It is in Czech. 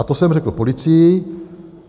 A to jsem řekl policii.